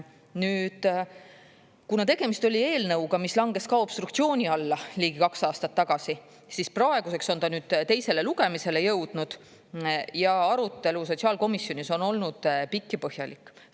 Nüüd, kuna tegemist oli eelnõuga, mis langes ka obstruktsiooni alla ligi kaks aastat tagasi, siis praeguseks on ta nüüd teisele lugemisele jõudnud ja arutelu sotsiaalkomisjonis on olnud pikk ja põhjalik.